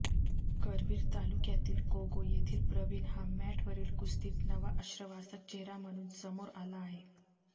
करवीर तालुक्यातील कोगे येथील प्रवीण हा मॅटवरील कुस्तीत नवा आश्वासक चेहरा म्हणून समोर आला आहे